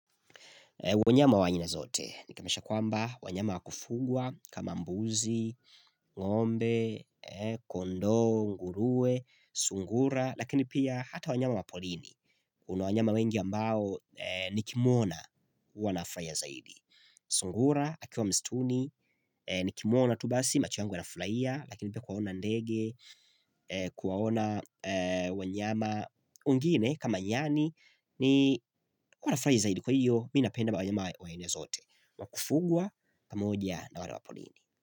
Wanyama wa aina zote, nikamesha kwamba wanyama wakufugwa kama mbuzi, ngombe, kondo, ngurue, sungura Lakini pia hata wanyama wa polini, kuna wanyama wengi ambao nikimwona huwa nafuraia zaidi sungura, akiwa mstuni, nikimwona tu basi macho yangu yanafraia Lakini pia kuwaona ndege, kuwaona wanyama ungine kama nyani ni huwa nafrahi zaidi kwa hiyo Mi napenda mwanyama wa aina zote wakufugwa pamoja na wale wa polini.